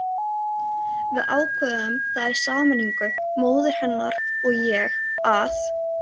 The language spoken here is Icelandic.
Við ákváðum það í sameiningu, móðir hennar og ég, að